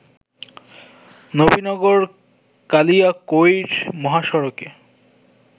নবীনগর-কালিয়াকৈর মহাসড়কে